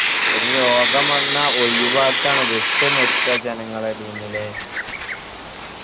ഒരു രോഗം വന്ന ഒഴിവാക്കാണ് വിട്ട് നിക്ക ജനങ്ങളെ ഇടയ്‍ന്ന് അല്ലെ